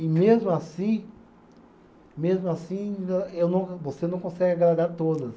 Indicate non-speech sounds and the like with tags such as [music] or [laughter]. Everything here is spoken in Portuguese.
E mesmo assim, mesmo assim, [unintelligible] eu não, você não consegue agradar todas.